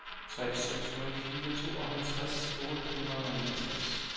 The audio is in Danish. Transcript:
tre seks nul fire tooghalvtreds otte hundrede og niogtres